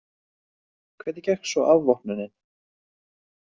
Hvernig gekk svo afvopnunin?